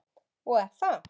Og er það.